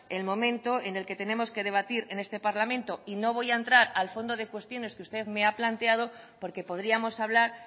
el momento en el que tenemos que debatir en este parlamento y no voy a entrar al fondo de cuestiones que usted me ha planteado porque podríamos hablar